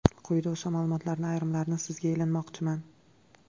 Quyida o‘sha ma’lumotlarning ayrimlarini sizga ilinmoqchiman.